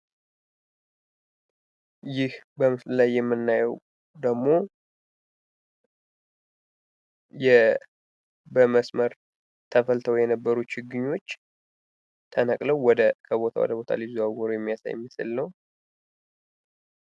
ይህ በምስሉ ላይ የምናየው ደግሞ በመስመር ተፈልተው የነበሩ ችግኞች ተነቅለው ከቦታ ወደ ቦታ ሊዘዋወሩ የሚያሳይ ምስል ነው።